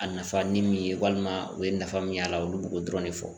A nafa ni min ye walima u ye nafa min y'a la olu b'o dɔrɔn de fɔ